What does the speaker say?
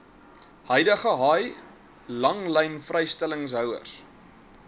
huidige haai langlynvrystellingshouers